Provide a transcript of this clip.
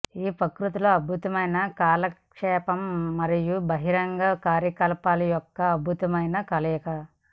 ఈ ప్రకృతిలో అద్భుతమైన కాలక్షేపంగా మరియు బహిరంగ కార్యకలాపాల యొక్క అద్భుతమైన కలయిక